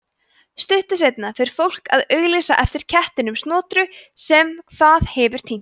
stuttu seinna fer fólk að auglýsa eftir kettinum snotru sem það hefur týnt